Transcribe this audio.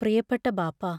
പ്രിയപ്പെട്ട ബാപ്പാ......